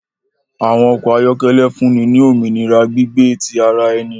Àwọn ọkọ ayọkẹlẹ fúnni ni òmìnira gbígbé ti àrà ẹni